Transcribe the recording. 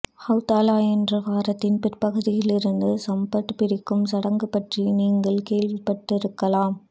Havdalah என்ற வாரத்தின் பிற்பகுதியில் இருந்து சப்பாத் பிரிக்கும் சடங்கு பற்றி நீங்கள் கேள்விப்பட்டிருக்கலாம்